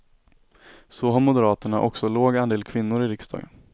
Så har moderaterna också låg andel kvinnor i riksdagen.